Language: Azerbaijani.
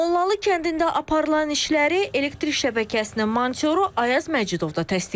Mollalı kəndində aparılan işləri elektrik şəbəkəsinin monitoru Ayaz Məcidov da təsdiqləyir.